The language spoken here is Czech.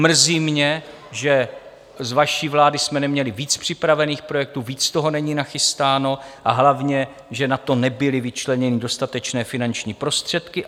Mrzí mě, že z vaší vlády jsme neměli více připravených projektů, více toho není nachystáno, a hlavně že na to nebyly vyčleněny dostatečné finanční prostředky.